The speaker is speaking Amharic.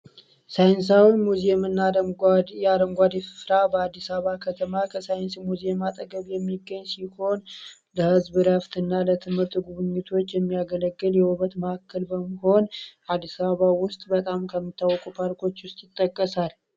ሳይንሳዊ ሙዚየም እና የአረንጓድ ስፍራ በአዲስ አበባ ከተማ ከሳይንስ ሙዚየም አጠገብ የሚገኝ ሲሆን ለህዝብ ረፍት እና ለትምህርት ጉብኙቶች የሚያገለገል የውበት መእከል በሆን አዲስ አበባ ውስጥ በጣም ከሚታወቁ ፓርኮች ውስጥ ይጠቀሳል።